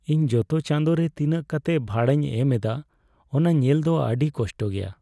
ᱤᱧ ᱡᱚᱛᱚ ᱪᱟᱸᱫᱳ ᱨᱮ ᱛᱤᱱᱟᱹᱜ ᱠᱟᱛᱮ ᱵᱷᱟᱲᱟᱧ ᱮᱢ ᱮᱫᱟ ᱚᱱᱟ ᱧᱮᱞ ᱫᱚ ᱟᱹᱰᱤ ᱠᱚᱥᱴᱚ ᱜᱮᱭᱟ ᱾